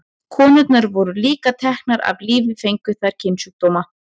Konurnar voru líka teknar af lífi fengju þær kynsjúkdóma.